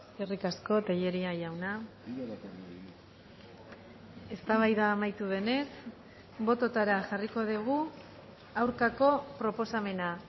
eskerrik asko tellería jauna eztabaida amaitu denez bototara jarriko dugu aurkako proposamena